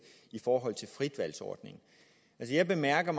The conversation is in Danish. i forhold til frit valg ordningen jeg bemærker